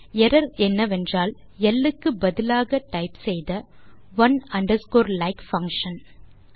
error என்னவென்றால் L க்கு பதிலாக டைப் செய்த ஒனே அண்டர்ஸ்கோர் லைக் பங்ஷன்